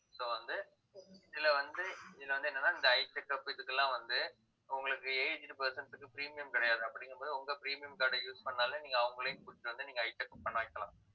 so வந்து இதுல வந்து இதுல வந்து என்னன்னா இந்த eye checkup இதுக்கெல்லாம் வந்து உங்களுக்கு aged person க்கு premium கிடையாது அப்படிங்கும்போது உங்க premium card அ use பண்ணாலும் நீங்க அவங்களையும் கூட்டிட்டு வந்து நீங்க eye checkup பண்ண வைக்கலாம்